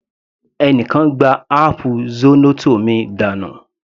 Ẹni kan gbá áápù zornoto mi dànù.